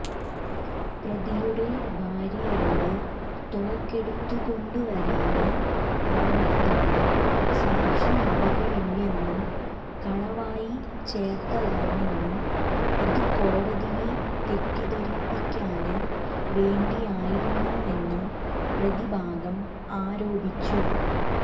പ്രതിയുടെ ഭാര്യയോട് തോക്കെടുത്തുകൊണ്ടുവരാന് പറഞ്ഞതായി സാക്ഷിമൊഴികളില്ലെന്നും കളവായി ചേര്ത്തതാണെന്നും അത് കോടതിയെ തെറ്റിദ്ധരിപ്പിക്കാന് വേണ്ടിയായിരുന്നുവെന്നും പ്രതിഭാഗം ആരോപിച്ചു